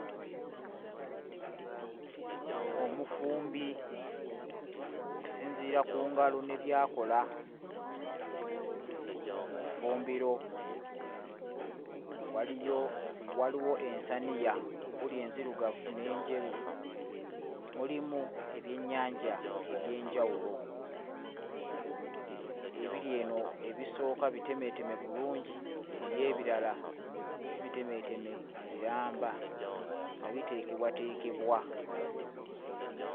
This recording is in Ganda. Omufumbi okusinziira ku ngalo ne by'akola mu ffumbiro. Waliyo waliwo ensaniya enzirugavu n'enjeru, mulimu ebyennyanja ebyenjawulo. Ebiri eno ebisooka bitemeeteme bulungi biri ebirala si bitemeeteme biramba nga biteekebwateekebwa.